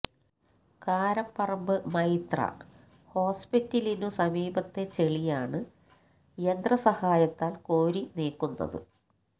കാരപറമ്പ് മൈത്ര ഹോസ്പിറ്റലിനു സമീപത്തെ ചെളിയാണ് യന്ത്ര സഹായത്താൽ കോരി നീക്കുന്നത്